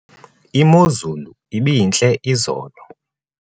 imozulu ibintle izolo